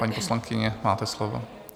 Paní poslankyně, máte slovo.